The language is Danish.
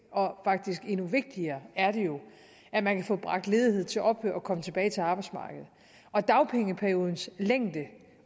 og faktisk endnu vigtigere er det jo at man kan få bragt ledigheden til ophør og komme tilbage til arbejdsmarkedet og dagpengeperiodens længde